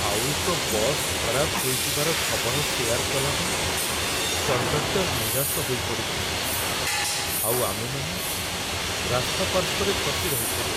ଆଉ ଏକ ବସ୍ ଖରାପ ହୋଇଯିବାର ଖବର ସେୟାର୍ କଲାବେଳେ କଣ୍ଡକ୍ଟର୍‌ ନିରାଶ ହୋଇ ପଡ଼ିଥିଲେ, ଆଉ ଆମେମାନେ ରାସ୍ତା ପାର୍ଶ୍ୱରେ ଫସି ରହିଥିଲୁ।